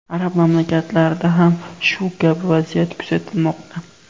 Arab mamlakatlarida ham shu kabi vaziyat kuzatilmoqda.